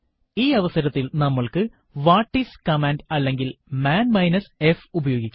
ഈ അവസരത്തിൽ നമ്മൾക്ക് വാട്ടിസ് കമാൻഡ് അല്ലെങ്കിൽ മാൻ മൈനസ് f ഉപയോഗിക്കാം